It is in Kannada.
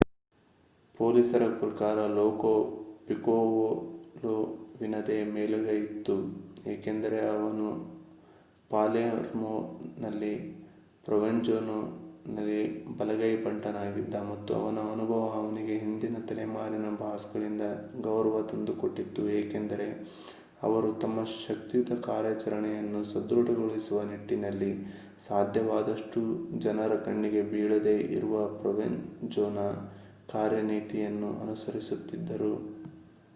ಪೊಲೀಸರ ಪ್ರಕಾರ ಲೋ ಪಿಕೋಲೊವಿನದೇ ಮೇಲುಗೈ ಇತ್ತು ಏಕೆಂದರೆ ಅವನು ಪಾಲೆ ರ್ಮೋನಲ್ಲಿ ಪ್ರೊವೆನ್ಜೋವಿನ ಬಲಗೈ ಬಂಟನಾಗಿದ್ದ ಮತ್ತು ಅವನ ಅನುಭವ ಅವನಿಗೆ ಹಿಂದಿನ ತಲೆಮಾರಿನ ಬಾಸ್ಗಳಿಂದ ಗೌರವ ತಂದುಕೊಟ್ಟಿತ್ತು ಏಕೆಂದರೆ ಅವರು ತಮ್ಮ ಶಕ್ತಿಯುತ ಕಾರ್ಯಾಚರಣೆಯನ್ನು ಸದೃಡಗೊಳಿಸುವ ನಿಟ್ಟಿನಲ್ಲಿ ಸಾಧ್ಯವಾದಷ್ಟೂ ಜನರ ಕಣ್ಣಿಗೆ ಬೀಳದೆ ಇರುವ ಪ್ರೊವೆನ್ ಜೊನ ಕಾರ್ಯನೀತಿಯನ್ನು ಅನುಸರಿಸುತ್ತಿದ್ದರು